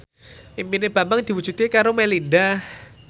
impine Bambang diwujudke karo Melinda